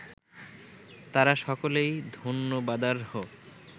তাঁরা সকলেই ধন্যবাদার্হ